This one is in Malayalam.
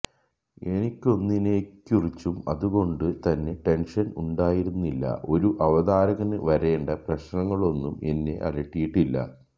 എനിക്കൊന്നിനെക്കുറിച്ചും അതുകൊണ്ട് തന്നെ ടെന്ഷന് ഉണ്ടായിരുന്നില്ല ഒരു അവതാരകന് വരേണ്ട പ്രശ്ങ്ങളൊന്നും എന്നെ അലട്ടിയില്ല